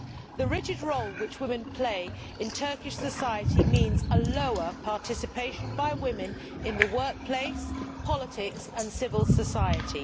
The rigid role which women play in Turkish society means lower participation by women in the workplace, politics and civil society.